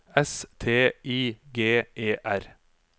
S T I G E R